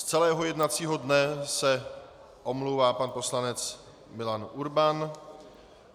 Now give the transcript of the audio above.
Z celého jednacího dne se omlouvá pan poslanec Milan Urban.